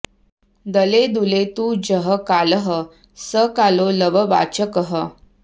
दले दुले तु जः कालः स कालो लववाचकः